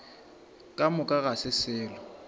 ka moka ga se selo